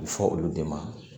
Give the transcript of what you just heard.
A bɛ fɔ olu de ma